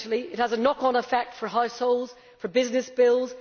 Potentially this can have a knock on effect for households, for business bills.